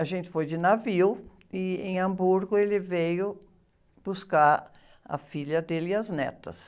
A gente foi de navio e, em Hamburgo, ele veio buscar a filha dele e as netas.